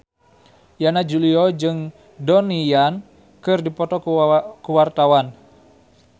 Yana Julio jeung Donnie Yan keur dipoto ku wartawan